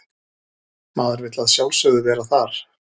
Maður vill að sjálfsögðu vera þar